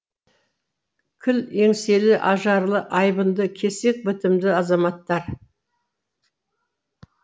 кіл еңселі ажарлы айбынды кесек бітімді азаматтар